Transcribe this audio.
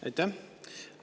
Aitäh!